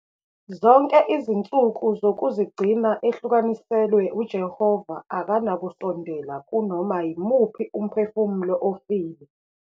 Zonke izinsuku zokuzigcina ehlukaniselwe uJehova akanakusondela kunoma yimuphi umphefumulo ofile.